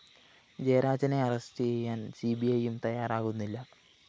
ജയരാജനെ arrest ചെയ്യാന്‍ സിബിഐയും തയ്യാറാകുന്നില്ല